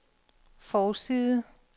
forside